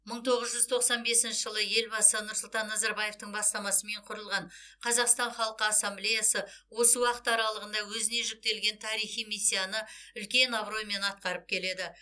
мың тоғыз жүз тоқсан бесінші жылы елбасы нұрсұлтан назарбаевтың бастамасымен құрылған қазақстан халқы ассамблеясы осы уақыт аралығында өзіне жүктелген тарихи миссияны үлкен абыроймен атқарып келеді